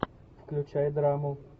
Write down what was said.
включай драму